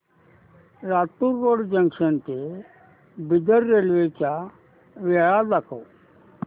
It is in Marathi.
लातूर रोड जंक्शन ते बिदर रेल्वे च्या वेळा दाखव